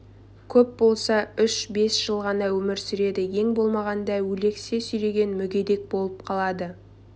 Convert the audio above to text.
көп болса үш бес жыл ғана өмір сүреді ең болмағанда өлексе сүйреген мүгедек болып қалады